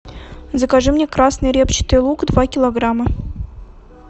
закажи мне красный репчатый лук два килограмма